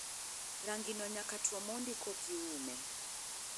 Rangino nyaka two mondi kokiume.